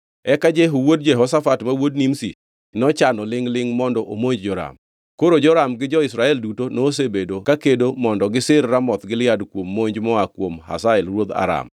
Eka Jehu wuod Jehoshafat ma wuod Nimshi nochano lingʼ-lingʼ mondo omonj Joram. (Koro Joram gi jo-Israel duto nosebedo kakedo mondo gisir Ramoth Gilead kuom monj moa kuom Hazael ruodh Aram,